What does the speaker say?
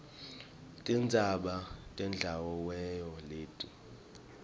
tindzaba temdlalowemoy leti